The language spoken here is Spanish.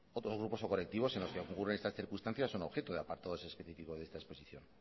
otros grupos colectivos en los que ocurren estas circunstancias son objeto de apartados específicos de esta exposición